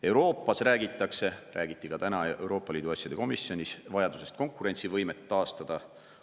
Euroopas räägitakse – seda räägiti täna ka Euroopa Liidu asjade komisjonis – vajadusest konkurentsivõime taastada.